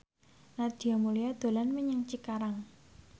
Nadia Mulya dolan menyang Cikarang